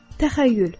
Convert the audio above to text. Təxəyyül.